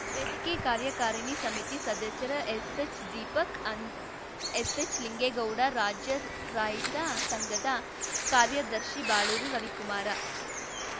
ವೇದಿಕೆ ಕಾರ್ಯಕಾರಿಣಿ ಸಮಿತಿ ಸದಸ್ಯ ಎಸ್ಎಚ್ದೀಪಕ್‌ ಎಸ್‌ಎಚ್‌ಲಿಂಗೇಗೌಡ ರಾಜ್ಯ ರೈತ ಸಂಘದ ಕಾರ್ಯದರ್ಶಿ ಬಳೂರು ರವಿಕುಮಾರ